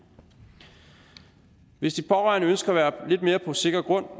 hvis de pårørende ønsker at være på lidt mere sikker grund